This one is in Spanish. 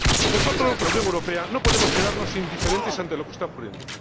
Nosotros, la Unión Europea, no podemos quedarnos indiferentes ante lo que está ocurriendo.